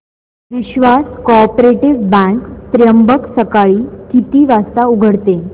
विश्वास cooperative bank Trimbak सकाळी किती वाजता उघडते